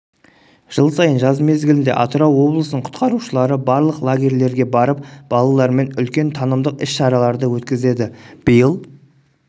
жыл сайын жаз мезгілінде атырау облысының құтқарушылары барлық лагерьлерге барып балалармен үлкен танымдық іс-шараларды өткізеді биыл